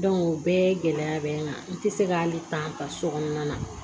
o bɛɛ gɛlɛya bɛ n kan n tɛ se k'ale ta ta sokɔnɔna na